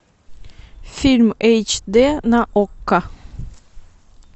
фильм эйч д на окко